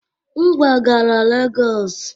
M kwagara Lagos